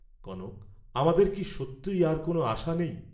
কনক, আমাদের কি সত্যই আর কোন আশা নেই?